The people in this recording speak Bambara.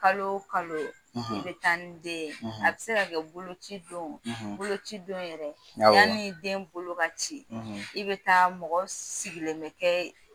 Kalo kalo i be taa ni den ye. A bi se kɛ boloci don, boloci don yɛrɛ yani den bolo ka ci i bɛ taa mɔgɔ sigilen bɛ kɛ